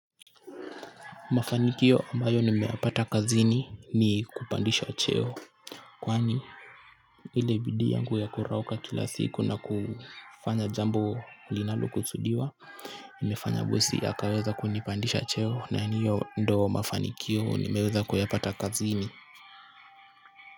Mafanikio ambayo nimeyapata kazini ni kupandishwa cheo. Kwani ile bidii yangu ya kurauka kila siku na kufanya jambo linalokusudiwa. Nimefanya bosi akaweza kunipandisha cheo na ni hiyo ndo mafanikio nimeweza kuyapata kazini.